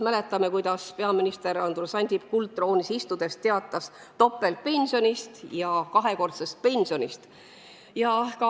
Mäletame, kuidas peaminister Andrus Ansip kuldtroonil istudes teatas topeltpensionist ja kahekordsest pensionist.